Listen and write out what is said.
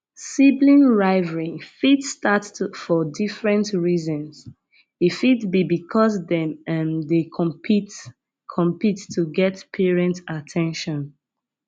sibling rivalry fit start for different reasons e fit be because dem um dey compete compete to get parent at ten tion